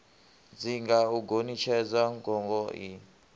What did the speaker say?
dzinga u gonitshedza gogo ie